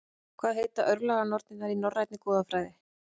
Hvað heita örlaganornirnar í Norænni goðafræði?